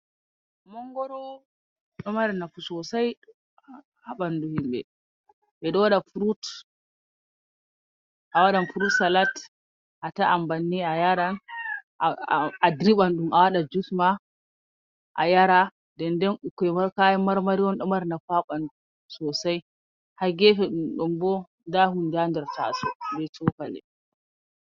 Mangoro ɗo mari nafu sosai. Ha baɗɗu himbe. Beɗo waɗa furut awaɗan furut salat ataan banni a yara. Aɗirban ɗum awaɗan jus ma ayara. Ɗenɗen bikkoi bo kayan marmari ɗo mari nafu ha banɗu sosai. Ha gefe ɗombo nɗa hunɗe ha ɗer tasou be chokali.